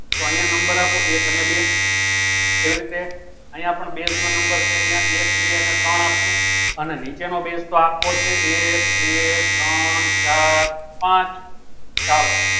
તો અયીયા number આપો એક ને બે એવી રીતે અયીયા પણ base નો number છે એક બે ને ત્રણ આપો અને નીચે નું base તો આપો છે એક બે ત્રણ ચાર પાંચ ચાલો